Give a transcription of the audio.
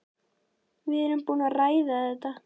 Við erum búin að ræða þetta.